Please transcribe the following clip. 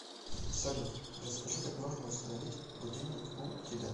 салют расскажи как можно установить будильник у тебя